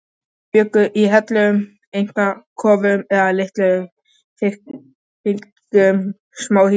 Þeir bjuggu í hellum, einsetukofum eða litlum þyrpingum smáhýsa.